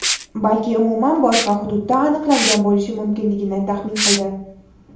balki umuman boshqa hududda aniqlangan bo‘lishi mumkinligini taxmin qildi.